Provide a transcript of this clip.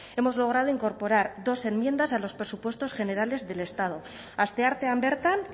hemos logrado incorporar dos enmiendas a los presupuestos generales del estado asteartean bertan